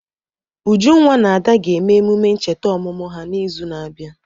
Ujunwa na Ada ga-eme emume ncheta ọmụmụ ha n'izu na-abịa.